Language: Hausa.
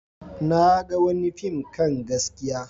Na ga wani fim kan gaskiya.